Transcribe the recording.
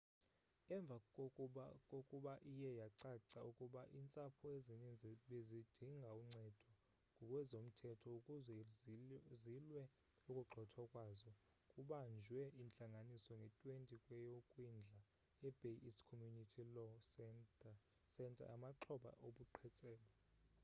emva kokuba iye yacaca ukuba iintsapho ezininzi bezidinga uncedo ngokwezomthetho ukuzwe zilwe ukugxothwa kwazo kubanjwe intlanganiso nge-20 kweyokwindla e-bay east community law centeryamaxhoba obuqhetseba